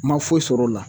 Ma foyi sɔr'o la